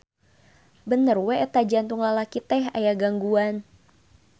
Bener we eta jantung lalaki teh aya gangguan.